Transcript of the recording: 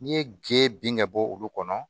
N'i ye ge bɔ olu kɔnɔ